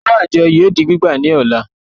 Owó àjọ yóò di gbígbà ní ọ̀la